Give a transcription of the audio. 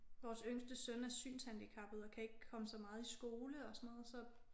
Vores yngste søn er synshandicappet og kan ikke komme så meget i skole og sådan noget så